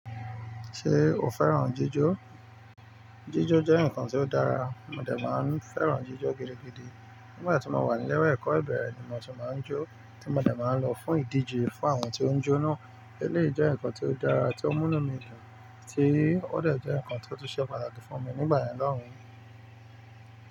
Ṣé o fẹ́ràn jíjọ́? Jíjo jẹ́ nǹkan tó dára, mo dẹ̀ máa ń fẹ́ràn jíjo gidigidi. Nígbà tí mo wà nílé ẹ̀kọ́ ìbẹ̀rẹ̀ ni mo ti máa ń jó, tí mo dẹ̀ máa ń lọ fún ìdíje fún àwọn tí ó ń jó náà. Eléyìí jẹ́ nǹkan tó dára tí ó mú inu mi dun, tí ó dẹ̀ jẹ́ nǹkan tó tún ṣe pàtàkì fún mi nígbà yen lóhùn.